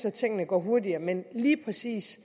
at tingene går hurtigere men lige præcis